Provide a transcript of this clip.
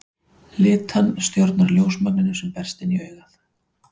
Litan stjórnar ljósmagninu sem berst inn í augað.